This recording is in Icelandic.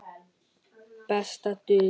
Besta dul